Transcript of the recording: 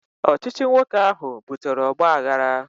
Ọchịchị nwoke ahụ butere ogbaaghara